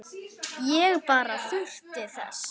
Ég bara þurfti þess.